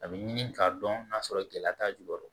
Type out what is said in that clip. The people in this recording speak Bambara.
A bɛ ɲini k'a dɔn n'a sɔrɔ gɛlɛya t'a jukɔrɔ